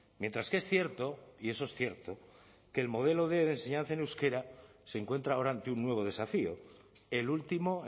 mientras que es cierto y eso es cierto que el modelo quinientos de enseñanza en euskera se encuentra ahora ante un nuevo desafío el último